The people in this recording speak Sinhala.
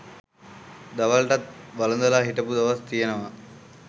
දවල්ටත් වළඳලා හිටපු දවස් තියෙනවා